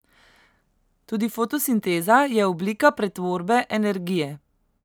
Tudi fotosinteza je oblika pretvorbe energije.